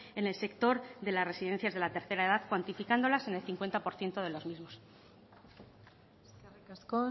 en el sector de las residencias de la tercera edad cuantificándolas en el cincuenta por ciento de los mismos eskerrik asko